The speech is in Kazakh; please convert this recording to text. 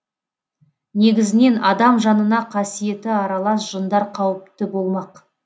негізінен адам жанына қасиеті аралас жындар қауіпті болмақ